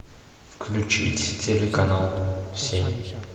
включить телеканал семь